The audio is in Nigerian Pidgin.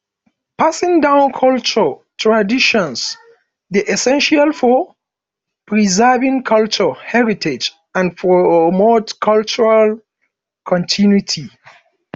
passing down cultural traditions dey essential for preserving cultural heritage and promote cultural continuity